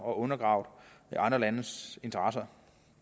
og undergravet andre landes interesser